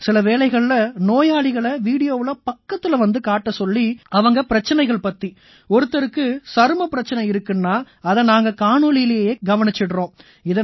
சில வேளைகள்ல நோயாளிகளை வீடியோவுல பக்கத்தில வந்து காட்டச் சொல்லி அவங்க பிரச்சனைகள் பத்தி ஒருத்தருக்கு சருமப் பிரச்சனை இருக்குன்னா அதை நாங்க காணொளியிலேயே கவனிச்சுடறோம்